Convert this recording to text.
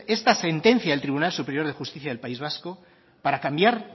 esta sentencia del tribunal superior de justicia del país vasco para cambiar